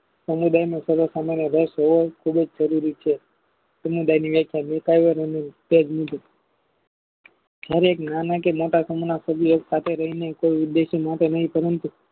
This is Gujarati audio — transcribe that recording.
સમુદાયનો સરથામાં રસ હોય ખુબજ જરૂરી છે સમુદાયની વ્યાખ્યા મોટાવો અને ઉપજ સુ છે જયારે એક નાના કે મોટા સમૂહને એક સાથે રહીને તે ઉદેશી માટે નહિ પરંતુ